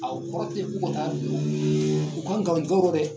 A o kɔrɔtɛ k' u ka taa don u ka ŋalontigɛwrɔ dɛ